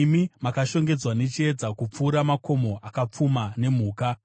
Imi makashongedzwa nechiedza, kupfuura makomo akapfuma nemhuka.